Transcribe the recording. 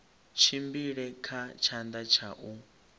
tshimbile kha tshanḓa tsha u